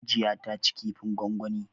Hajiya ta ci kifin gwangwani.